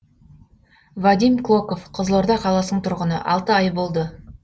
вадим клоков қызылорда қаласының тұрғыны алты ай болды